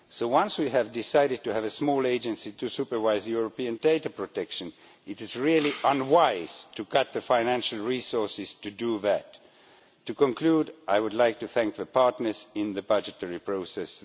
So once we have decided to have a small agency to supervise European data protection, it is really unwise to cut the financial resources it has to do that. To conclude, I would like to thank the partners in the budgetary process.